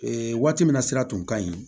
Ee waati min na sira tun ka ɲi